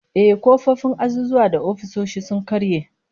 Ehh, kofofin azuzuwa da ofisoshi sun karye